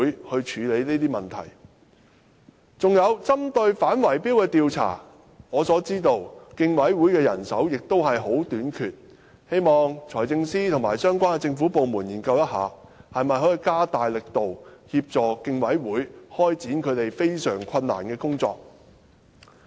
還有，我知道競委會亦非常欠缺反圍標行為的調查人手，希望財政司司長和相關的政府部門研究一下，看看能否加大力度協助競委會開展這項非常困難的工作。